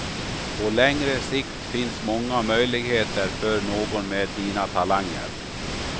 På längre sikt finns många möjligheter för någon med dina talanger.